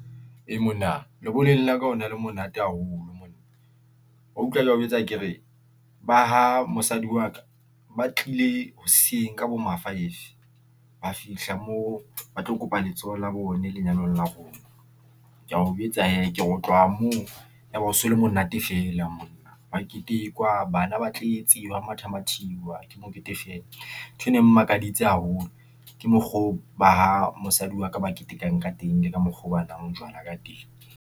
Ee, monna lebollong la ka ho na le monate haholo monna, wa utlwa ke ya o jwetsa kere, ba ha mosadi wa ka, ba tlile hoseng ka bo ma-five, ba fihla moo ba tlo kopa letsoho la rone lenyalong la rona. Ke ya o jwetsa hee, ke otlwa moo, yaba ho so le monate fela monna, hwa ketekwa, bana ba tletse, hwa matha mathiswa, ke mokete fela. Nthwe ne e mmakaditse haholo, ke mokgo o ba ha mosadi wa ka, ba ketekang ka teng, le ka mokgo oo banwang majwala ka teng.